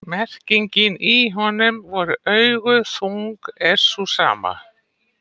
Merkingin í honum voru augu þung er sú sama.